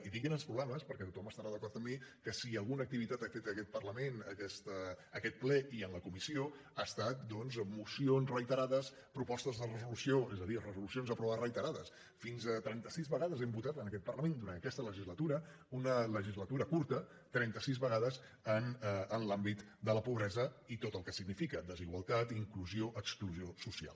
i dic grans problemes perquè tothom estarà d’acord amb mi que si alguna activitat ha fet aquest parlament aquest ple i en la comissió han estat doncs mocions reiterades propostes de resolució és a dir resolucions aprovades reiterades fins a trenta sis vegades hem votat en aquest parlament durant aquesta legislatura una legislatura curta trenta sis vegades en l’àmbit de la pobresa i tot el que significa desigualtat inclusió exclusió social